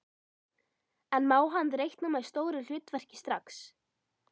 En má hann reikna með stóru hlutverki strax?